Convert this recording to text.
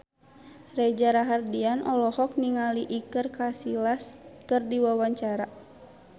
Reza Rahardian olohok ningali Iker Casillas keur diwawancara